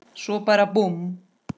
Svo bara búmm.